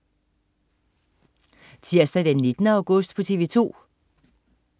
Tirsdag den 19. august - TV 2: